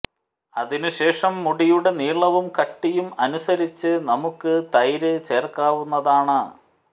അതിന് ശേഷം മുടിയുടെ നീളവും കട്ടിയും അനുസരിച്ച് നമുക്കക് തൈര് ചേർക്കാവുന്നതാണ്